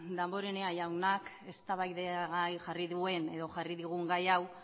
damborenea jaunak eztabaidagai jarri duen edo jarri digun gai hau